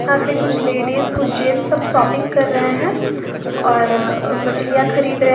यहां पे कुछ लेडिस कुछ जेंट्स शॉपिंग कर रहे हैं और मछलियां खरीद रहे--